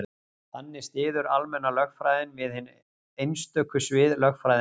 þannig styður almenna lögfræðin við hin einstöku svið lögfræðinnar